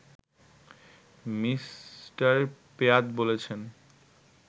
Me. পেয়াত বলেছেন